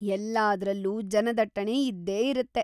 ಎಲ್ಲಾದ್ರಲ್ಲೂ ಜನದಟ್ಟಣೆ ಇದ್ದೇ ಇರತ್ತೆ.